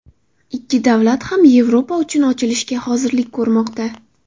Ikki davlat ham Yevropa uchun ochilishga hozirlik ko‘rmoqda.